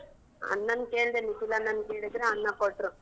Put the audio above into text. ಅಣ್ಣನ್ ಕೇಳ್ದೆ ನಿಖಿಲ್ ಅಣ್ಣನ್ ಕೇಳ್ದ್ರೆ ಅಣ್ಣ ಕೊಟ್ರು.